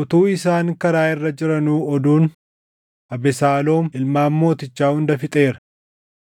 Utuu isaan karaa irra jiranuu oduun, “Abesaaloom ilmaan mootichaa hunda fixeera;